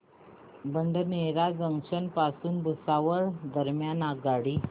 Badnera junction पासून भुसावळ दरम्यान आगगाडी